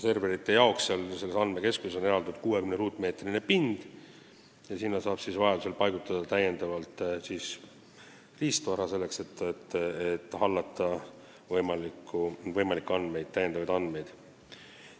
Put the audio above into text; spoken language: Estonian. Serverite jaoks on selles andmekeskuses eraldatud 60 ruutmeetrit ja sinna saab vajadusel paigutada täiendavat riistvara, selleks et hallata võimalikke lisanduvaid andmeid.